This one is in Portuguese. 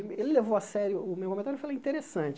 Ele levou a sério o meu comentário e falou, interessante.